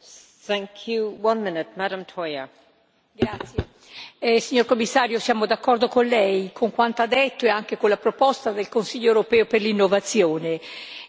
Signora Presidente, onorevoli colleghi, signor Commissario, siamo d'accordo con lei, con quanto ha detto e anche con la proposta del Consiglio europeo per l'innovazione